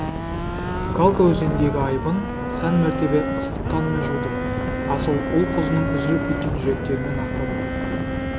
калка өзеніндегі айыбын сан мәртебе ыстық қанымен жуды асыл ұл-қызының үзіліп кеткен жүректерімен ақтады